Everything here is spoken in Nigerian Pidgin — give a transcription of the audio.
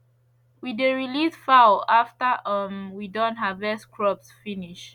we dey release fowl after um we don harvest crops finish